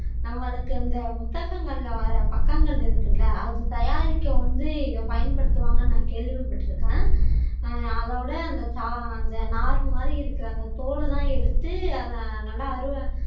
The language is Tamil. நம்மளுக்கு அந்த புத்தகங்கள்ல வர்ற பக்கங்கள் இருக்குள்ள அத தயாரிக்க வந்து இத பயன்படுத்துவாங்கன்னு நான் கேள்விப்பட்டு இருக்கேன் ஆஹ் அதோட அந்த அந்த நாறு மாதிரிஇருக்கிற அந்த தோல் எல்லாம் எடுத்து அத நல்லா அருவ